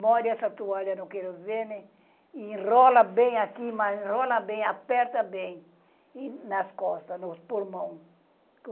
Molha essa toalha no querosene e enrola bem aqui, mas enrola bem, aperta bem e nas costas, no pulmão.